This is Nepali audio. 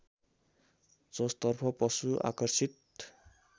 जसतर्फ पशु आकर्षित